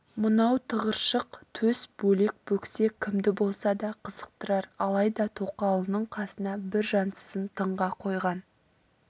мынау тығыршық төс бөлек бөксе кімді болса да қызықтырар алайда тоқалының қасына бір жансызын тыңға қойған